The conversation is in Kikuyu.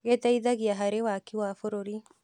Gĩteithagia harĩ waki wa bũrũri.